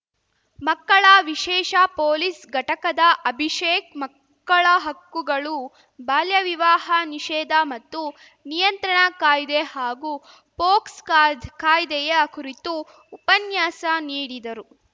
ಮಕ್ಕಳ ವಿಶೇಷ ಪೊಲೀಸ್‌ ಘಟಕದ ಅಭಿಷೇಕ್‌ ಮಕ್ಕಳ ಹಕ್ಕುಗಳು ಬಾಲ್ಯ ವಿವಾಹ ನಿಷೇಧ ಮತ್ತು ನಿಯಂತ್ರಣ ಕಾಯ್ದೆ ಹಾಗೂ ಪೋಕ್ಸೋ ಕಾಯ್ದೆಯ ಕುರಿತು ಉಪನ್ಯಾಸ ನೀಡಿದರು